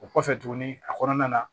O kɔfɛ tuguni a kɔnɔna na